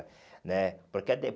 né porque a